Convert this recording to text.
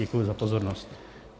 Děkuji za pozornost.